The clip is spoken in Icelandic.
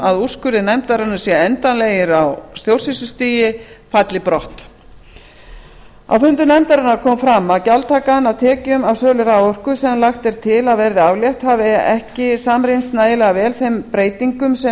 að úrskurðir nefndarinnar séu endanlegir á stjórnsýslustigi falli brott á fundum nefndarinnar kom fram að gjaldtakan af tekjum af sölu raforku sem lagt er til að verði aflétt hefði ekki samrýmst nægilega vel þeim breytingum sem